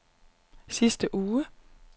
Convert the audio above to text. sidste uge